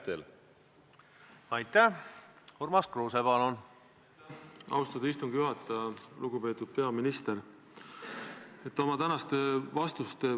Nüüd, kui rääkida NATO-st, mille te sisse tõite, siis see on tegelikult seotud sellega, mida ma eelmisele küsimusele vastates ütlesin.